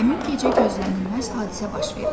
Həmin gecə gözlənilməz hadisə baş verdi.